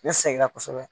Ne sɛgɛnna kosɛbɛ